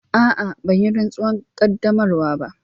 A'a, ban yi rantsuwar qaddamarwa ba.